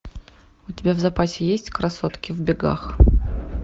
у тебя в запасе есть красотки в бегах